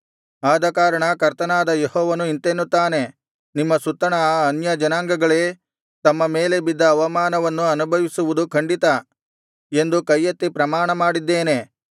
ಆದಕಾರಣ ಕರ್ತನಾದ ಯೆಹೋವನು ಇಂತೆನ್ನುತ್ತಾನೆ ನಿಮ್ಮ ಸುತ್ತಣ ಆ ಅನ್ಯಜನಾಂಗಗಳೇ ತಮ್ಮ ಮೇಲೆ ಬಿದ್ದ ಅವಮಾನವನ್ನು ಅನುಭವಿಸುವುದು ಖಂಡಿತ ಎಂದು ಕೈಯೆತ್ತಿ ಪ್ರಮಾಣಮಾಡಿದ್ದೇನೆ